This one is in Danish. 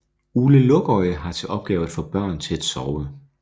Ole Lukøje har til opgave at få børn til at sove